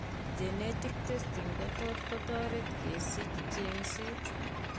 Genetic testing kotot kotoret kesich cheng'seet